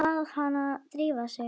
Bað hana að drífa sig.